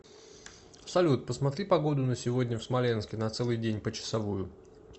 салют посмотри погоду на сегодня в смоленске на целый день почасовую